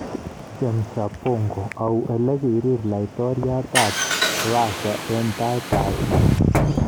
Chemsha bongo: Au ole kiriir laitoryat ab Rasia eng taitab biik?